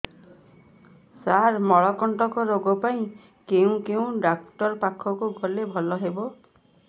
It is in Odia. ସାର ମଳକଣ୍ଟକ ରୋଗ ପାଇଁ କେଉଁ ଡକ୍ଟର ପାଖକୁ ଗଲେ ଭଲ ହେବ